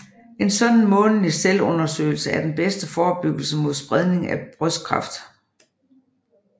En sådan månedlig selvundersøgelse er den bedste forebyggelse mod spredning af brystkræft